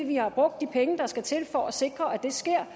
vi har brugt de penge der skal til for at sikre at det sker